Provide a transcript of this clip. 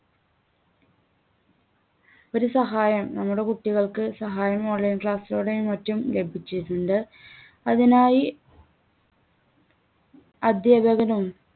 ഒരു സഹായം നമ്മുടെ കുട്ടികൾക്ക് സഹായം online class ലൂടെയും മറ്റും ലഭിച്ചിട്ടുണ്ട്. അതിനായി അധ്യാപകരും